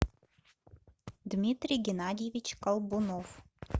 дмитрий геннадьевич колдунов